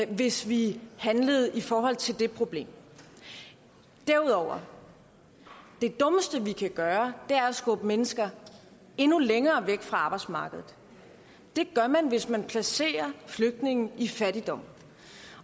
hvis vi handlede i forhold til det problem derudover er det dummeste vi kan gøre at skubbe mennesker endnu længere væk fra arbejdsmarkedet det gør man hvis man placerer flygtninge i fattigdom